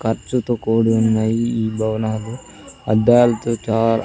ఖర్చుతో కూడి ఉన్నా ఈ భవనాలు అద్దాల్తో చాలా--